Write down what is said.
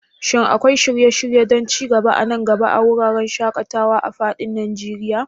Shin akwai shirye-shirye don ci gaba a nan gaba a wuraren shaƙatawa a fadin Najeriya?